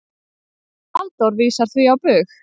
Halldór vísar því á bug.